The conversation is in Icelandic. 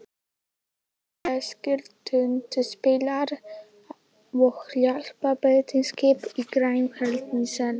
Tveir breskir tundurspillar og hjálparbeitiskip í Grænlandshafi.